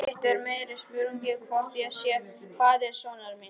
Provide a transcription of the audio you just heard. Hitt er meiri spurning hvort ég sé faðir sonar míns.